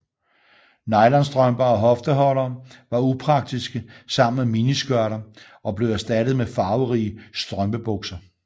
Nylonstrømper og hofteholdere var upraktiske sammen med miniskørter og blev erstattet med farverige strømpebukser